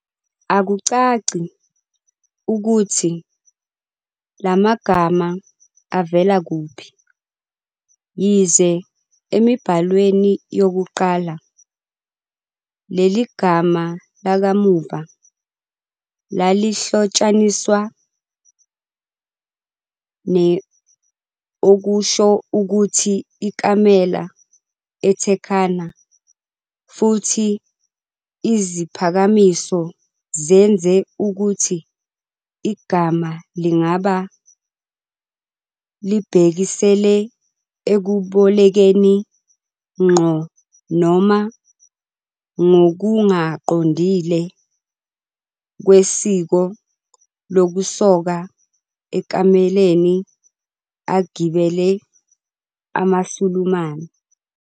Akucaci ukuthi la magama avela kuphi, yize emibhalweni yokuqala leli gama lakamuva lalihlotshaniswa ne- okusho ukuthi ikamela eTurkana futhi iziphakamiso zenze ukuthi igama lingaba "libhekisele ekubolekeni, ngqo noma ngokungaqondile kwesiko lokusoka emakameleni agibele amaSulumane".